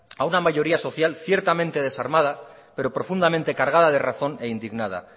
a una mayoría social ciertamente desarmada pero profundamente cargada de razón e indignada